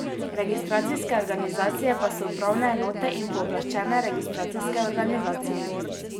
Registracijske organizacije pa so upravne enote in pooblaščene registracijske organizacije.